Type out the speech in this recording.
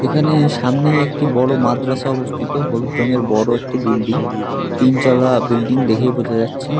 এখানে সামনেই একটি বড় মাদ্রাসা অবস্থিত হলুদ রঙের বড় একটি বিল্ডিং । তিন চালা বিল্ডিং দেখেই বোঝা যাচ্ছে।